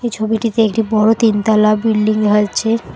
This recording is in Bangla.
ছবিটিতে একটি বড়ো তিনতলা বিল্ডিং দেখা যাচ্ছে।